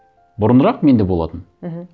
бұрынырақ менде болатын мхм